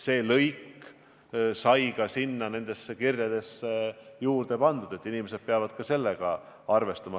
See lõik sai ka nendesse kirjadesse pandud, inimesed peavad sellega arvestama.